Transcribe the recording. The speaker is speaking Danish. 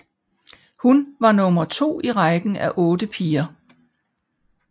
Hun var nummer to i rækken af otte piger